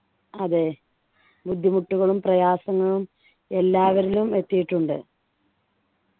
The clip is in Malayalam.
അതെ ബുദ്ധിമുട്ടുകളും പ്രയാസങ്ങളും എല്ലാവരിലും എത്തീട്ടുണ്ട്